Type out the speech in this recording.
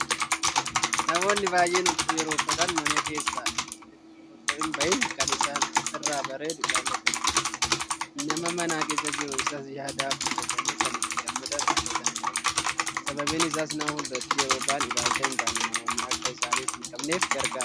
Namoonni baay'een huccuu yeroo uffatan mana keessaa itoo hinbahin kan isaan irraa bareedu ilaallatanii; nama mana keessa jiru irraas yaada fudhatanii kan itti gammadan uffatanii bahu. Sababni isaas nama fuulduratti yeroo bahan ilaalcha hintaane namoonni akka isaaniif hinqabaanneef gargaara.